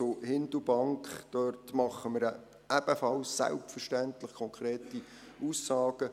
Hindelbank: Dazu machen wir selbstverständlich ebenfalls konkrete Aussagen.